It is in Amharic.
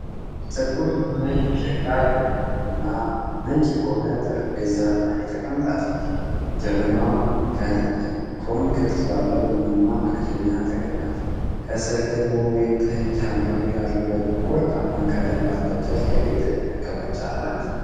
ጥቁር የሆነች የሸክላ ጀበና ነጭ በሆነ ጠረጴዛ ላይ ተቀምጣለች። ጀበናዋ ኮን ቅርጽ ባለው ቡናማ መክደኛዋ ተከድናለች። ከስር ደግሞ ወይንጠጅ፣ ሀምራዊ፣ አረንጓዴ እና ወርቃማ ቀለም ባለው ጨርቅ ያጌጠች መቀመጫ አላት።